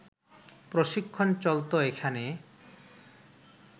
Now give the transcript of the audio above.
প্রশিক্ষণ চলত এখানে